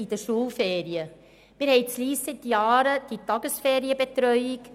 Wir haben in Lyss seit Jahren eine Tagesferienbetreuung.